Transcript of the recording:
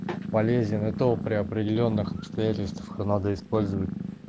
полезен и то при определённых обстоятельствах надо использовать